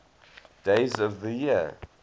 days of the year